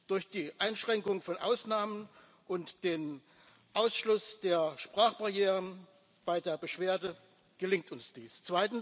Durch die Einschränkung von Ausnahmen und den Ausschluss der Sprachbarrieren bei der Beschwerde gelingt uns dies.